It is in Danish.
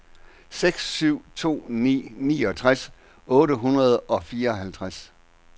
seks syv to ni niogtres otte hundrede og fireoghalvtreds